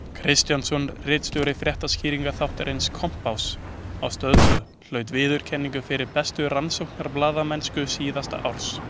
Kristjánsson, ritstjóri fréttaskýringaþáttarins Kompáss á Stöð tvö hlaut verðlaunin fyrir bestu rannsóknarblaðamennsku síðasta árs.